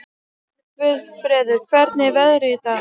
Guðfreður, hvernig er veðrið í dag?